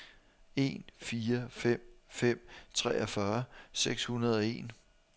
en fire fem fem treogfyrre seks hundrede og en